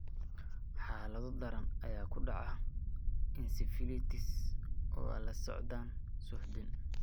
Xaalado daran ayaa ku dhaca encephalitis oo ay la socdaan suuxdin.